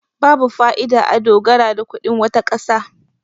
babu fa'ida a dogara da kudin wata kasa